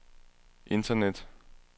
internet